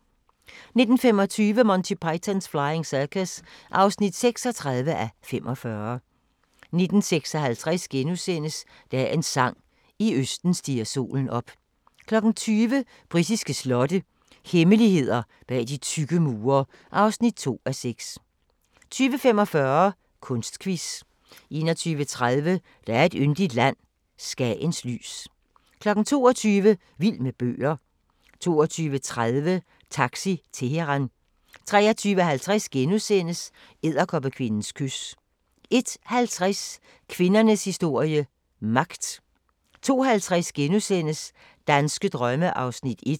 19:25: Monty Python's Flying Circus (36:45) 19:56: Dagens sang: I østen stiger solen op * 20:00: Britiske slotte – hemmeligheder bag de tykke mure (2:6) 20:45: Kunstquiz 21:30: Der er et yndigt land – Skagens lys 22:00: Vild med bøger 22:30: Taxi Teheran 23:50: Edderkoppekvindens kys * 01:50: Kvindernes historie – magt 02:50: Danske drømme (1:10)*